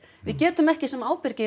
við getum ekki sem ábyrgir